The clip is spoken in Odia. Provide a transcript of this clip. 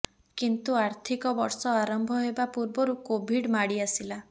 କିନ୍ତୁ ଆର୍ଥିକ ବର୍ଷ ଆରମ୍ଭ ହେବା ପୂର୍ବରୁ କୋଭିଡ଼ ମାଡ଼ିଆସିଲା